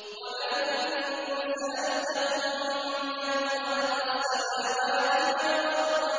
وَلَئِن سَأَلْتَهُم مَّنْ خَلَقَ السَّمَاوَاتِ وَالْأَرْضَ